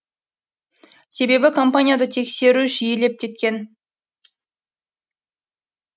себебі компанияда тексеру жиілеп кеткен